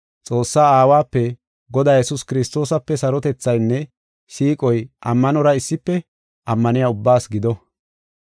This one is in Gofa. Xoossaa Aawape, Godaa Yesuus Kiristoosape sarotethaynne siiqoy ammanora issife ammaniya ubbaas gido.